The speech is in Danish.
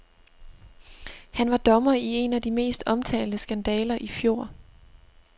Han var dommer i en af de mest omtalte skandaler i fjor.